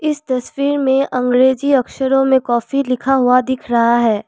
इस तस्वीर में अंग्रेजी अक्षरों में कॉफी लिखा हुआ दिख रहा है।